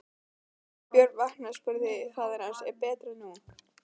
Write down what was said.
Þegar Björn vaknaði spurði faðir hans:-Er betra nú?